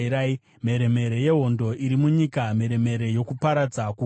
Mheremhere yehondo iri munyika, mheremhere yokuparadza kukuru!